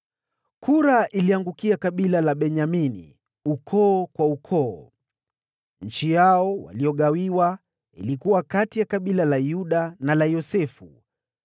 Kura iliangukia kabila la Benyamini, ukoo kwa ukoo. Eneo lao walilogawiwa lilikuwa kati ya kabila la Yuda na la Yosefu.